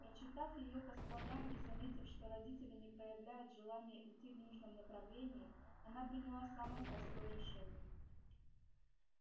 прочитав её по складам и заметив что родители не проявляют желания идти в нужном направлении она приняла самое простое решение